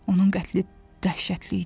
Onun qətli dəhşətli idi.